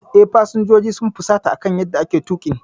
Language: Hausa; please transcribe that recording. Eh, fasinjojin sun fusata akan yanda ake tuƙin.